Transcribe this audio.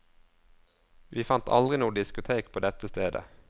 Vi fant aldri noe diskotek på dette stedet.